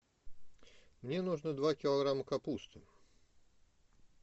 мне нужно два килограмма капусты